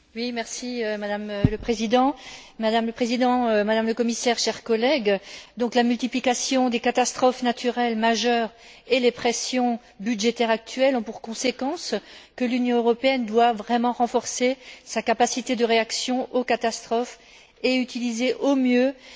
Madame le Président, Madame le Commissaire, chers collègues, la multiplication des catastrophes naturelles majeures et les pressions budgétaires actuelles ont pour conséquences que l'Union européenne doit vraiment renforcer sa capacité de réaction aux catastrophes et utiliser au mieux ses